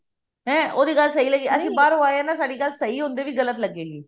ਹੈਂ ਉਹਦੀ ਗੱਲ ਸਹੀ ਲੱਗੇਗੀ ਬਾਹਰੋਂ ਆਈਏ ਆਏ ਆਂ ਨਾ ਸਾਡੀ ਗੱਲ ਸਹੀ ਹੁੰਦੇ ਵੀ ਗਲਤ ਲੱਗੇ ਗੀ